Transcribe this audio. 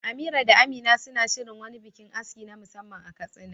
Amira da Amina suna shirin wani bikin aski na musamman a Katsina.